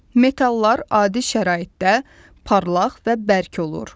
Metallar adi şəraitdə parlaq və bərk olur.